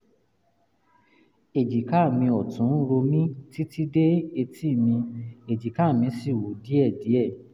èjìká mi ọ̀tún ń ro mí títí dé etí mi èjìká mi sì wú díẹ̀díẹ̀